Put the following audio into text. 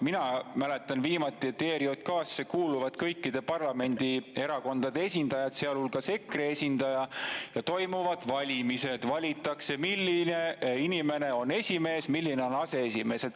Mina mäletan, et viimati kuulusid ERJK‑sse kõikide parlamendierakondade esindajad, sealhulgas EKRE esindaja, ja toimuvad valimised: valitakse esimees ja aseesimees.